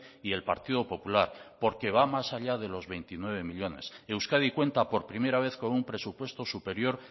y el partido popular porque va más allá de los veintinueve millónes euskadi cuenta por primera vez con un presupuesto superior